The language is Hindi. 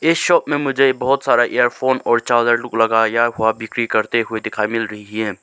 इस शॉप में मुझे बहोत सारा इयरफोन और चार्जर लूक लगाया गया है वह बिक्री करते हुए दिखाई मिल रही है।